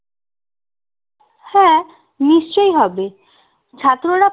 হ্যাঁ নিশ্চই হবে ছাত্ররা